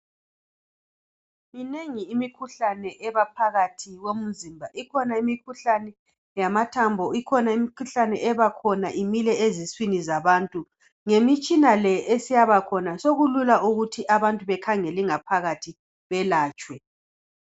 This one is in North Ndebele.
Minengi imikhuhlane eba phakathi komzimba. Ikhona imikhuhlane yamathambo, ikhona imikhuhlane ebakhona imile eziswini zabantu. Ngemitshina le eseyaba khona sokulula ukuthi abantu bekhangelwe ingaphakathi beyelatshwe.